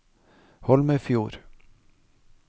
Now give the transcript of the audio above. Holmefjord